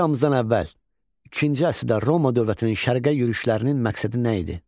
Eramızdan əvvəl ikinci əsrdə Roma dövlətinin şərqə yürüşlərinin məqsədi nə idi?